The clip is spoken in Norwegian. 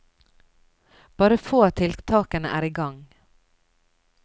Bare få av tiltakene er i gang.